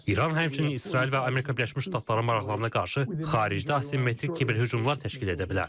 İran həmçinin İsrail və Amerika Birləşmiş Ştatlarının maraqlarına qarşı xaricdə asimmetrik kiber hücumlar təşkil edə bilər.